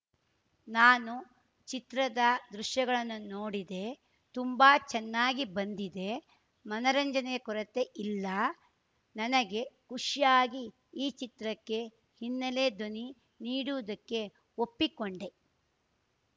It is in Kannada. ನಾನು ಚಿತ್ರದ ದೃಶ್ಯಗಳನ್ನು ನೋಡಿದೆ ತುಂಬಾ ಚೆನ್ನಾಗಿ ಬಂದಿದೆ ಮನರಂಜನೆ ಕೊರತೆ ಇಲ್ಲ ನನಗೆ ಖುಷಿಯಾಗಿ ಈ ಚಿತ್ರಕ್ಕೆ ಹಿನ್ನೆಲೆ ಧ್ವನಿ ನೀಡುವುದಕ್ಕೆ ಒಪ್ಪಿಕೊಂಡೆ